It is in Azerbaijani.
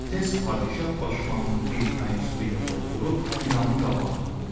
Tez padşah başmağının bir tayını su ilə doldurub ilanın qabağına qoyur.